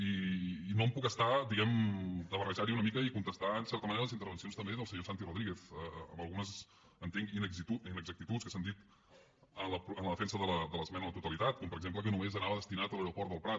i no em puc estar diguemne de barrejarho una mica i contestar en certa manera les intervencions també del senyor santi rodríguez amb algunes entenc inexactituds que s’han dit en la defensa de l’esmena a la totalitat com per exemple que només anava destinat a l’aeroport del prat